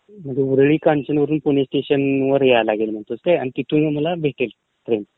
ऊरळी कांचनवरून पुणे स्टेशनवर यावं लागंल, ठीक आहे, आणि तिथून मला ....Sound not clear